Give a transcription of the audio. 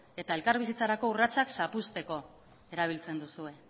eta elkarbizitzarako urratsak zapuzteko erabiltzen duzue